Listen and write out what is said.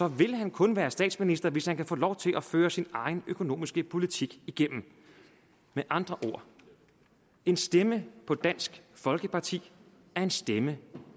vil han kun være statsminister hvis han kan få lov til at føre sin egen økonomiske politik igennem med andre ord en stemme på dansk folkeparti er en stemme